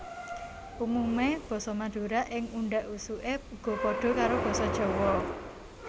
Umumé basa Madura ing undhak usuké uga padha karo Basa Jawa